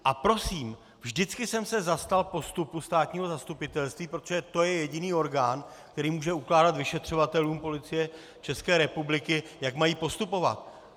A prosím, vždycky jsem se zastal postupu státního zastupitelství, protože to je jediný orgán, který může ukládat vyšetřovatelům Policie České republiky, jak mají postupovat.